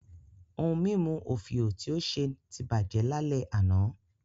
Ohun mímu òfìò tí ó ṣe ti bàjẹ́ lálẹ́ àná